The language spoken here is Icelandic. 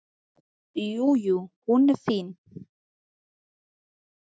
Jú, jú. hún er fín.